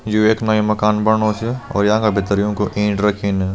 यु एक नयू मकान बड़नू च और याका भितर यूकों ईट रखीं न।